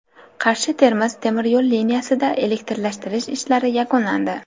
Qarshi Termiz temir yo‘l liniyasida elektrlashtirish ishlari yakunlandi.